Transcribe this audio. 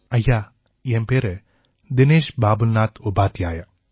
தினேஷ் உபாத்யாயா ஜி ஐயா என் பேரு தினேஷ் பாபுல்நாத் உபாத்யாயா